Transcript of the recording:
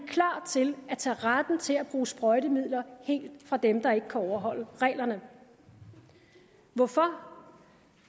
klar til at tage retten til at bruge sprøjtemidler helt fra dem der ikke kan overholde reglerne hvorfor